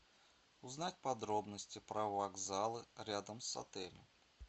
узнать подробности про вокзалы рядом с отелем